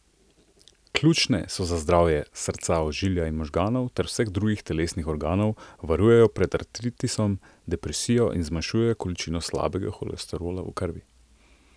Ključne so za zdravje srca, ožilja in možganov ter vseh drugih telesnih organov, varujejo pred artritisom, depresijo in zmanjšujejo količino slabega holesterola v krvi.